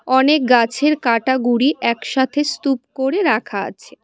অনেক গাছের কাটা গুড়ি একসাথে স্তূপ করে রাখা আছে।